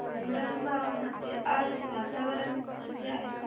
उंडणगांव मध्ये आज वातावरण कसे आहे